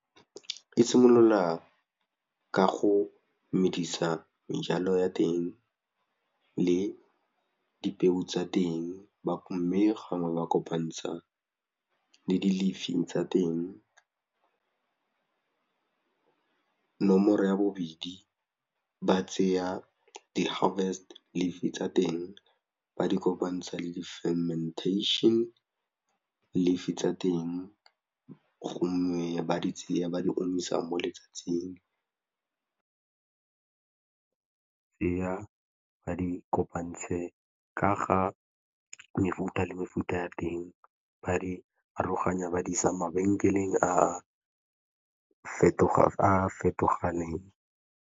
E simolola ka go medisa ya teng le dipeo tsa teng mme gangwe ba kopantsha le dilifing tsa teng, nomoro ya bobedi ba tseya di tsa teng ba di kopantsha le fementation lifi tsa teng go mme ba di tseya ba di omisa mo letsatsing, ba di kopantshe ka ga mefuta le mefuta ya teng ba di aroganya ba di isa mabenkeleng a a fetoganeng.